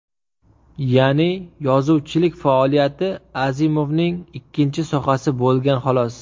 Ya’ni yozuvchilik faoliyati Azimovning ikkinchi sohasi bo‘lgan xolos.